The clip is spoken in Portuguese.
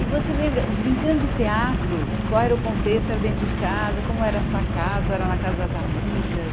E você lembra, brincando de teatro, qual era o contexto, era dentro de casa, como era a sua casa, era na casa das amigas?